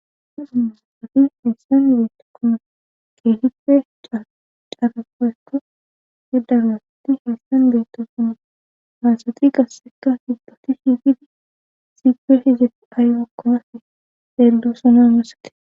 amasa musasati heessan yiiti kuna geehipe caarapoekka gedaraaatti heessan beetto suna haasati qasseka hibdoti hihidi zigpe hizef ay okkonafe deeldo sona musate